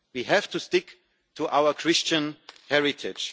all share. We have to stick to our Christian